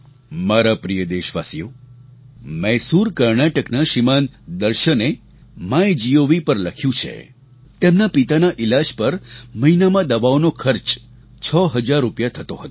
મારા પ્રિય દેશવાસીઓ મૈસૂર કર્ણાટકના શ્રીમાન દર્શને માયગોવ પર લખ્યું છે તેમના પિતાના ઈલાજ પર મહિનામાં દવાઓનો ખર્ચ 6 હજાર રૂપિયા થતો હતો